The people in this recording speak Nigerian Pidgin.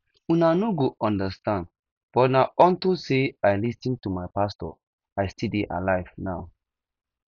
una no go understand but na unto say i lis ten to my pastor i still dey alive now